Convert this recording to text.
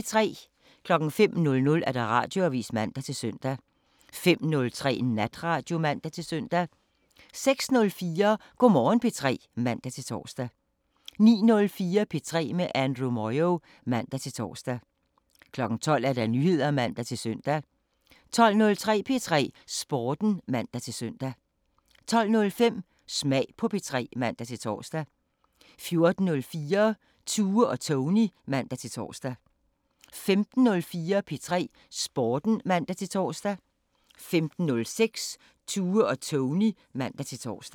05:00: Radioavisen (man-søn) 05:03: Natradio (man-søn) 06:04: Go' Morgen P3 (man-tor) 09:04: P3 med Andrew Moyo (man-tor) 12:00: Nyheder (man-søn) 12:03: P3 Sporten (man-søn) 12:05: Smag på P3 (man-tor) 14:04: Tue og Tony (man-tor) 15:04: P3 Sporten (man-tor) 15:06: Tue og Tony (man-tor)